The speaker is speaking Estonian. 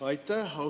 Aitäh!